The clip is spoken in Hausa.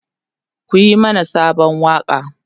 ku Yi mana Sabon waƙa!